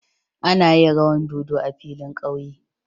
Ana yin rawan dodo a filin ƙauye.